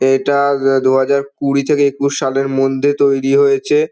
এটা-আ দু দুহাজার কুড়ি থেকে একুশ সালের মধ্যে তৈরি হয়েছে।